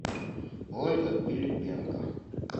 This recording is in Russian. ольга пилипенко